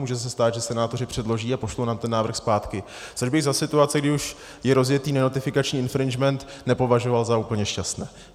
Může se stát, že senátoři předloží a pošlou nám ten návrh zpátky, což bych za situace, kdy už je rozjetý nenotifikační infringement, nepovažoval za úplně šťastné.